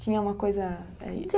Tinha uma coisa